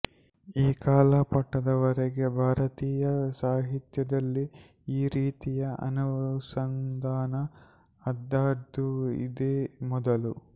ಈ ಕಾಲ ಘಟ್ಟದ ವರೆಗೆ ಭಾರತೀಯ ಸಾಹಿತ್ಯದಲ್ಲಿ ಈ ರೀತಿಯ ಅನುಸಂಧಾನ ಆದದ್ದು ಇದೇ ಮೊದಲು